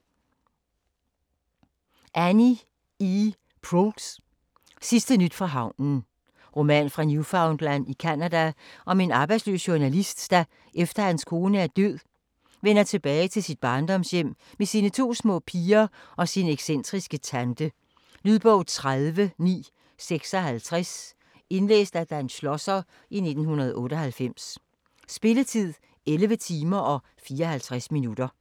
Proulx, E. Annie: Sidste nyt fra havnen Roman fra Newfoundland i Canada om en arbejdsløs journalist, der efter at hans kone er død, vender tilbage til sit barndomshjem med sine to små piger og sin excentriske tante. Lydbog 30956 Indlæst af Dan Schlosser, 1998. Spilletid: 11 timer, 54 minutter.